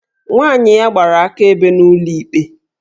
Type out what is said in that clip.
Nwa ya nwaanyị gbara akaebe n'ụlọ ikpe